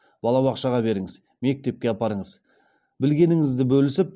балабақшаға беріңіз мектепке апарыңыз білгеніңізді бөлісіп